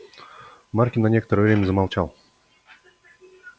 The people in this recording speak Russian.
маркин на некоторое время замолчал